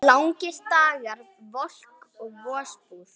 Langir dagar, volk og vosbúð.